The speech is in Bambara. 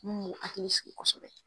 Mun n'u ye hakili sigi kosɛbɛ